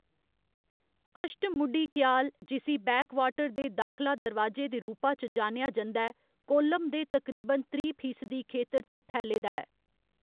अश्टमुडी कयाल, जिसी बैकवाटर दे दाखला दरवाजे दे रूपा च जानेआ जंदा ऐ, कोल्लम दे तकरीबन त्रीह्‌ फीसदी खेतर च फैले दा ऐ।